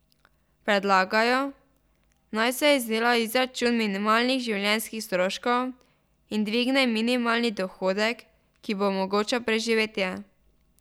Predlagajo, naj se izdela izračun minimalnih življenjskih stroškov in dvigne minimalni dohodek, ki bo omogočal preživetje.